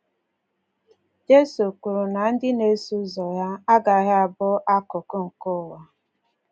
Jizọs kwuru na um ndị na-eso ụzọ ya ‘agaghị abụ um akụkụ nke ụwa.’